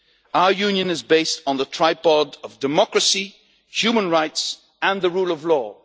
Our Union is based on the tripod of democracy, human rights and the rule of law.